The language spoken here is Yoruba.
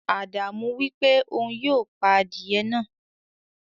Ádámù wípé òun yóò pà adiye náà.